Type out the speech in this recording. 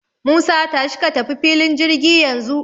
Musa, tashi ka tafi filin jirgi yanzu.